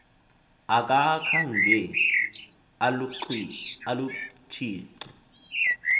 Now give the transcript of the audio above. akakha nge alutshixe